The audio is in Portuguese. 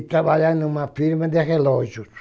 E trabalhar em uma firma de relógios.